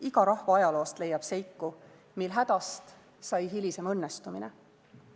Iga rahva ajaloost leiab seiku, mil hädast sai hilisem õnnestumine.